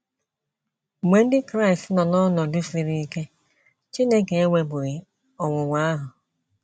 Mgbe ndị Kraịst nọ n’ọnọdụ siri ike, Chineke ewepụghị ọnwụnwa ahụ.